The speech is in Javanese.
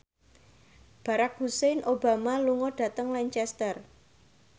Barack Hussein Obama lunga dhateng Lancaster